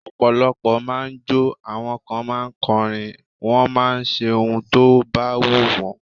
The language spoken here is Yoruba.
Ọ̀pọ̀lọpọ̀ máà ń jọ́, àwọn kan ma ń kọrin, wọ́n máà ń ṣe ohun tó bá wù wọ́n.